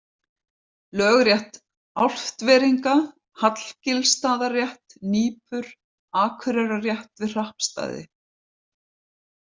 Lögrétt Álftveringa, Hallgilsstaðarétt, Nípur, Akureyrarrétt við Hrappstaði